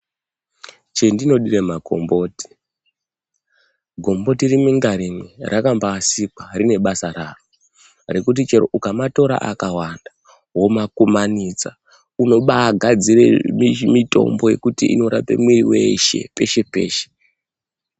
Chendinodira makomboti, gomboti rimwe ngarimwe rakambasikwa rine basa raro rekuti chero ukamatira akawanda womakumanidza unobagadzire mitombo wekuti unorape mwiri weshe peshe peshe.